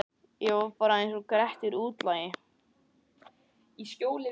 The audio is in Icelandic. Ég var bara einsog Grettir útlagi.